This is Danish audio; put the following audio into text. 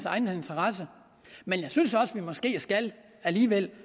egen interesse men jeg synes alligevel